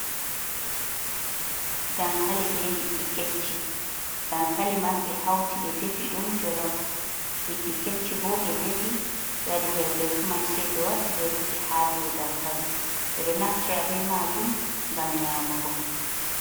Dankali be liɗɗi kecchi dankali man ɓe hauti ɓe ɗefi ɗum jolof liddi kecci ɓo ɓe defi ɓe waɗi perpesu man sei ɓe waddi ɓe rufi ha ɗo dankali beɗo naftira ɓe majum ngam nyamugo.